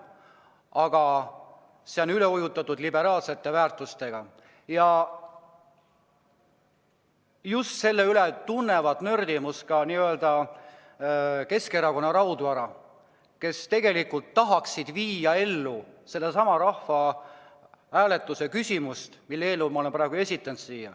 Aga erakond on üle ujutatud liberaalsete väärtustega ja just selle pärast tunneb nördimust ka Keskerakonna raudvara, kes tegelikult tahaks viia ellu sedasama rahvahääletust, mille eelnõu ma olen esitanud.